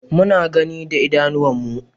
Muna gani da idanuwan mu